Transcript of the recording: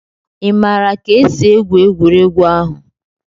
Ị maara ka esi egwu egwuregwu ahụ?